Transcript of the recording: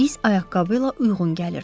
İz ayaqqabı ilə uyğun gəlirdi.